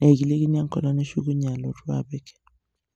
nikilikini eng'olong nishukunye alotu apik.